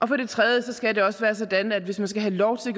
for det tredje skal det også være sådan at hvis man skal have lov til